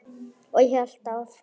Og hélt áfram